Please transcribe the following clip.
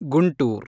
Guntur